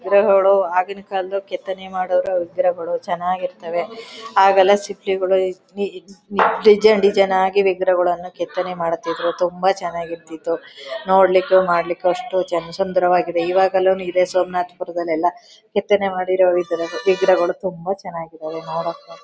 ವಿಗ್ರಹಗಳು ಆಗಿನ ಕಾಲದ ಕೆತ್ತನೆ ಮಾಡಿದ ವಿಗ್ರಹಗಳು ಚೆನ್ನಾಗಿರ್ತದೆ . ಆಗೆಲ್ಲ ಶಿಲ್ಪಿಗಳು ಈ ಡಿಸೈನ್ ಡಿಸೈನ್ ಆಗಿ ವಿಗ್ರಹಗಳನ್ನು ಕೆತ್ತನೆ ಮಾಡುತ್ತಿದ್ದರು. ತುಂಬಾ ಚೆನ್ನಾಗಿ ಇರ್ತಿತ್ತು ನೋಡಲಿಕ್ಕೂ ಮಾಡಲಿಕ್ಕೂ ಅಷ್ಟೇ ಚಂದ್ ಚಂದವಾಗಿದೆ . ಇವಾಗಲು ಇದೆ ಸೋಮನಾಥಪುರದಲ್ಲಿ ಎಲ್ಲ ಕೆತ್ತನೆ ಮಾಡಿರೋ ವಿಗ್ರಹಗಳು ತುಂಬಾ ಚೆನ್ನಗಿದವೇ ನೋಡಕೆ.